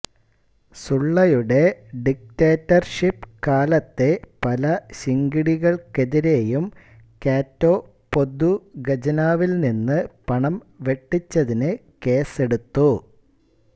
സുള്ളയുടെ ഡിക്റ്റേറ്റർഷിപ്പ് കാലത്തെ പല ശിങ്കിടികൾക്കെതിരെയും കാറ്റോ പൊതുഖജനാവിൽനിന്ന് പണം വെട്ടിച്ചതിന് കേസെടുത്തു